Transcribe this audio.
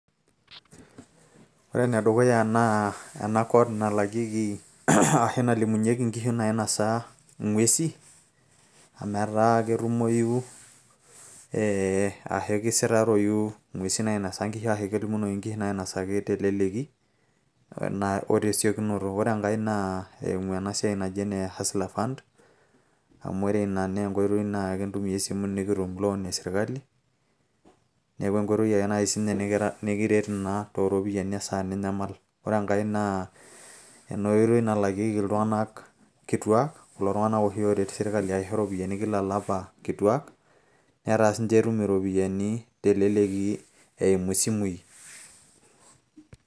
ore ene dukuya naa ena code nalakieki, ashu nalimunyeki, nkishu naisnosa ng'uesi amu etaa ketumoyu, ashu kisitaroyu, nguesin naainosa nkishu, ashu kelimunoyu, nkishu nainosa ng'uesin telelki o tesiokinoto. ore enkae naa eimu ena siai naji ene hustler fund. amu ore ina naa enkoitoi nikitumie loan esirkali, neeku enkoitoi ake naai sii ninye nikiret naa tooropiyiani, esaa ninyamal. ore enkae naa ena oitoi nalakieki iltung'anak kituaak, kulo tung'ana oshi ooret sirkali aisho ropiyiani kituak. netaa elelek sii ninche etum iropyiani eimu simui.